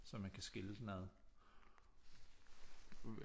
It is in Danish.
Så man kan skille den ad